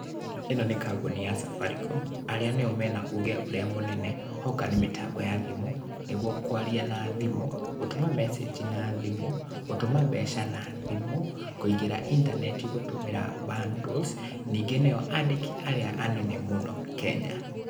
Ĩno nĩ kambuni ya Safaricom, arĩa nĩo mena uge ũrĩa mũnene, hoka nĩ mĩtambo ya thimũ, nĩguo kwaria na thimũ, gũtũma message na thimũ, gũtũma mbeca na thimũ, kũingĩra intaneti gũtũmĩra bundles, ningĩ nĩo andĩki arĩa anene mũno Kenya.